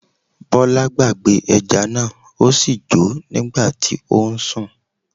Bọlá gbàgbé ẹja náà,ó sì jó nígbà tí ó ń sùn.